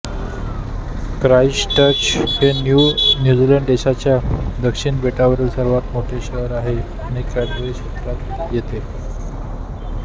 Christchurch हे New Zealand देशाच्या दक्षिण बेटावरील सर्वात मोठे शहर आहे आणि कॅंटरबरी क्षेत्रात येते